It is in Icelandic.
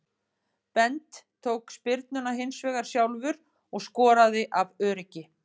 Bent tók spyrnuna hinsvegar sjálfur og skoraði af öryggi.